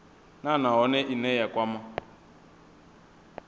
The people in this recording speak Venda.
nha nahone ine ya kwama